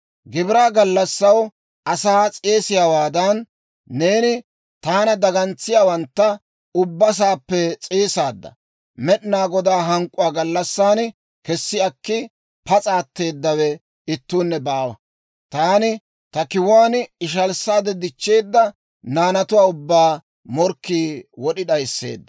Gibiraa gallassaw asaa s'eesiyaawaadan, neeni taana dagantsiyaawantta ubba saappe s'eesaadda. Med'inaa Godaa hank'k'uwaa gallassan kessi akki pas'a atteedawe ittuunne baawa. Taani ta kiwuwaan ishalissaade dichcheedda naanatuwaa ubbaa morkkii wod'i d'ayisseedda.